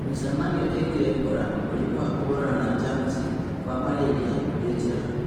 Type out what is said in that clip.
Mĩcemanio ĩgiĩ Ebola, mũrimũ wa kũhũrana na jamũci wa marĩria wĩ njĩra